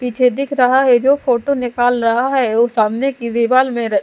पीछे दिख रहा है जो फोटो निकाल रहा है वो सामने की दीवाल में--